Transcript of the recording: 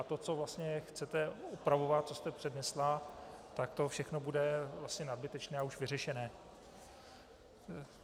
A to, co vlastně chcete opravovat, co jste přednesla, tak to všechno bude vlastně nadbytečné a už vyřešené.